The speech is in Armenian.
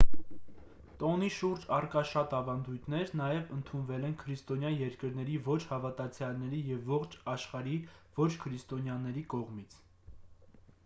տոնի շուրջ առկա շատ ավանդույթներ նաև ընդունվել են քրիստոնյա երկրների ոչ հավատացյալների և ողջ աշխարհի ոչ քրիստոնյաների կողմից